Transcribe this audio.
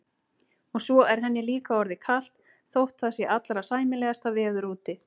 Og svo er henni líka orðið kalt þótt það sé allra sæmilegasta veður úti.